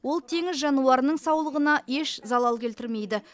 ол теңіз жануарының саулығына еш залал келтірмейді